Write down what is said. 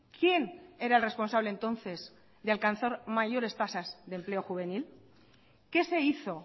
quién era el responsable entonces de alcanzar mayores tasas de empleo juvenil qué se hizo